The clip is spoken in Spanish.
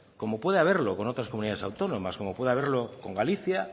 como puede haberlo con otras comunidades autónomas como puede haberlo con galicia